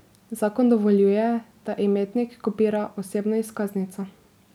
Zakon dovoljuje, da imetnik kopira osebno izkaznico.